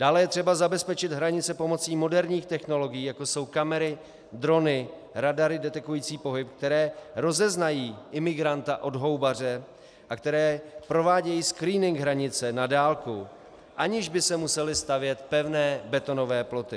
Dále je třeba zabezpečit hranice pomocí moderních technologií, jako jsou kamery, drony, radary detekující pohyb, které rozeznají imigranta od houbaře a které provádějí screening hranice na dálku, aniž by se musely stavět pevné betonové ploty.